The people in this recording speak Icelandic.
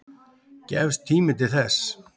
Gefst tími til þess?